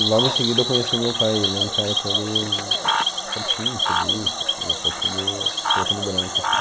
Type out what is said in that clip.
E logo em seguida eu conheci o meu pai, ele é um cara todo certinho, polícia, ele quer tudo preto no branco, assim.